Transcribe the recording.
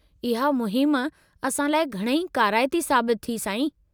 इहा मुहिम असां लाइ घणई काराइती साबितु थी, साईं।